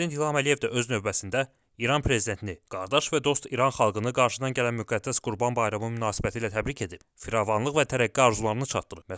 Prezident İlham Əliyev də öz növbəsində İran Prezidentini, qardaş və dost İran xalqını qarşıdan gələn müqəddəs Qurban Bayramı münasibətilə təbrik edib, firavanlıq və tərəqqi arzularını çatdırıb.